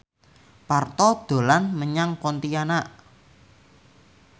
Parto dolan menyang Pontianak